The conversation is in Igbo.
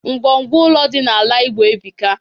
Ngwo ngwo ụlọ dị n'ala igbo ebuka.